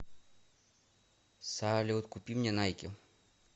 салют купи мне найки